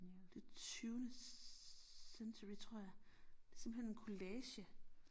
Ja det tyvende century tror jeg det simpelthen en collage